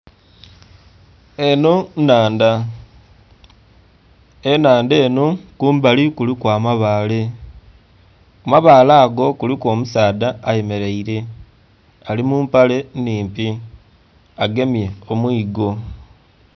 Enho nnhandha, enhandha enho kumbali kuliku amabaale, ku mabaale ago kuliku omusaadha ayemelaile ali mu mpale nnhimpi agemye omuigo.